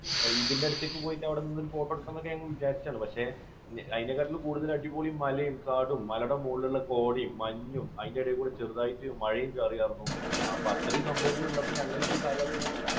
ഇതിൻറെ അടുത്തേക്ക് പോയി അവിടെ നിന്നിട്ട് ഒരു photo എടുക്കണം എന്നൊക്കെ ഞങ്ങൾ വിചാരിച്ചതാണ്. പക്ഷേ അതിനേക്കാൾ കൂടുതൽ അടിപൊളി മലയും കാടും മലയും മുകളിലുള്ള കോടമഞ്ഞും അതിൻറെ ഇടയിൽ കൂടി ചെറുതായിട്ട് മഴയും ചാറിയായിരുന്നു. അപ്പോൾ അത്രയും സംഭവങ്ങൾ ഉള്ളപ്പോൾ ഞങ്ങൾ ഈ സ്ഥലം ഒക്കെ ഒന്ന്